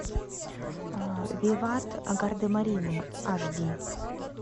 виват гардемарины аш ди